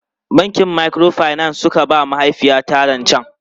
Bankin Microfinance suka ba mahaifiyata rancen.